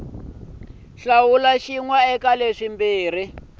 na xin wana xa leswimbirhi